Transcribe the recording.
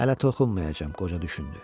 Hələ toxunmayacam, qoca düşündü.